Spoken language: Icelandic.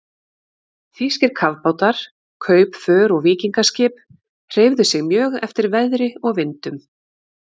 Þýskir kafbátar, kaupför og víkingaskip hreyfðu sig mjög eftir veðri og vindum.